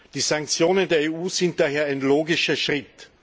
Die Sanktionen der EU sind daher ein logischer Schritt.